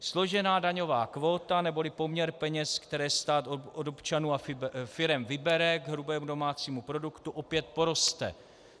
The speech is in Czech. Složená daňová kvóta neboli poměr peněz, které stát od občanů a firem vybere, k hrubému domácímu produktu opět poroste.